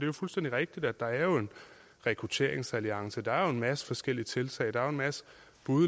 jo fuldstændig rigtigt at der er en rekrutteringsalliance der er en masse forskellige tiltag der er en masse